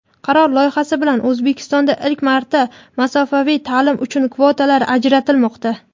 qaror loyihasi bilan O‘zbekistonda ilk marta masofaviy ta’lim uchun kvotalar ajratilmoqda.